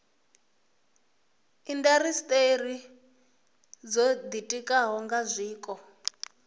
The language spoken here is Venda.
indasiteri dzo ditikaho nga zwiko